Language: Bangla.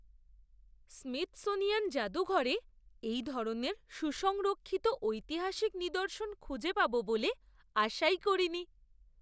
স্মিথসোনিয়ান জাদুঘরে এই ধরনের সুসংরক্ষিত ঐতিহাসিক নিদর্শন খুঁজে পাব বলে আশাই করিনি!